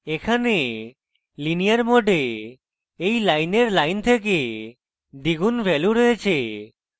এখানে linear mode এই linear line থেকে দ্বিগুন value রয়েছে